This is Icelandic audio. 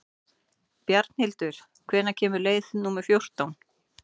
Bjarnhildur, hvenær kemur leið númer fjórtán?